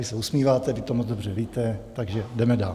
Vy se usmíváte, vy to moc dobře víte, takže jdeme dál.